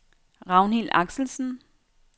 Ragnhild Axelsen